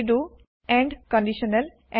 redo and conditional